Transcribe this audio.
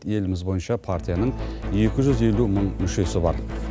еліміз бойынша партияның екі жүз елу мың мүшесі бар